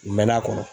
U mɛɛnna a kɔnɔ